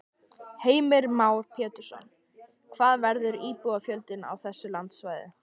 Heimir Már Pétursson: Hvað verður íbúafjöldinn á þessu landsvæði?